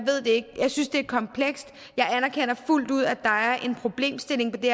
synes det er komplekst jeg anerkender fuldt ud at der er en problemstilling på det